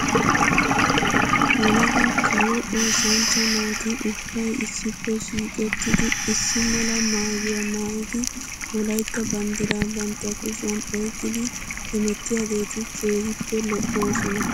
Yelaga kawo oosanchcha naati ubbay issippe shiiqettidi issi mala maayuwaa maayidi wolaytta banddiraa bantta kushiyan oyqqidi hemettiyaageeti keehippe lo'oosona .